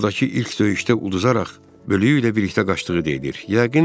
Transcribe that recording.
Ordakı ilk döyüşdə uduzaraq bölüyü ilə birlikdə qaçdığı deyilirdi.